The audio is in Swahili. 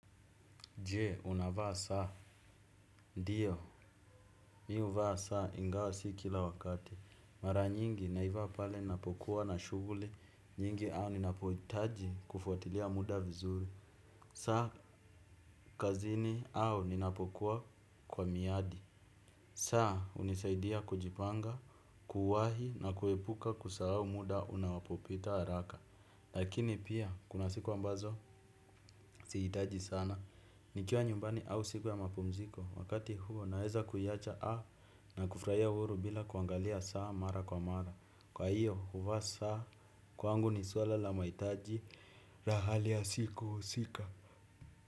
Je, unavaa saa. Ndio, mi huvaa saa ingawa si kila wakati. Mara nyingi naivaa pale ninapokuwa na shughuli nyingi au ninapohitaji kufuatilia muda vizuri. Saa, kazini au ninapokuwa kwa miadi. Saa, hunisaidia kujipanga, kuwahi na kuepuka kusahau muda unapopita haraka. Lakini pia, kuna siku ambazo, sihitaji sana. Nikiwa nyumbani au siku ya mapumziko wakati huo naeza kuiacha a na kufurahia uhuru bila kuangalia saa mara kwa mara kwa hiyo huvaa saa. Kwangu ni suala la mahitaji na hali ya siku husika.